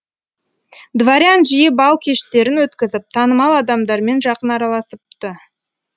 дворян жиі бал кештерін өткізіп танымал адамдармен жақын араласыпты